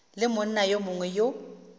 le monna yo mongwe yo